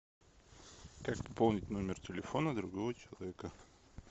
как пополнить номер телефона другого человека